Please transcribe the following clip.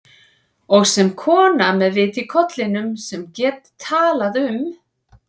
Og sem kona með vit í kollinum, sem get talað um